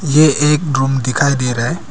ये एक रूम दिखाई दे रहा है।